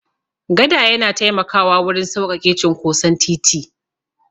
Gada yana taimakawa wurin sauƙaƙe cinkoson titi.